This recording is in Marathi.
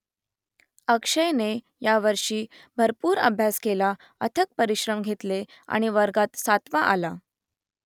अक्षयने यावर्षी भरपूर अभ्यास केला अथक परिश्रम घेतले आणि वर्गात सातवा आला